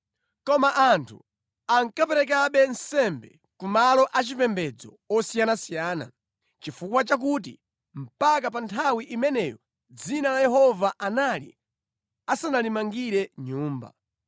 Koma anthu ankaperekabe nsembe ku malo achipembedzo osiyanasiyana chifukwa chakuti mpaka pa nthawi imeneyo Dzina la Yehova anali asanalimangire nyumba.